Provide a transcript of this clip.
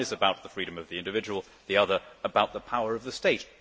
The one is about the freedom of the individual, the other about the power of the state.